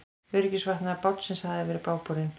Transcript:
Öryggisbúnaður bátsins hafi verið bágborinn